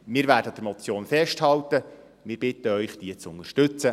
Wir werden an der Motion festhalten und bitten Sie, diese zu unterstützen.